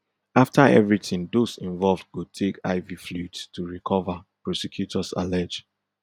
after everything those involved go take iv fluids to recover prosecutors allege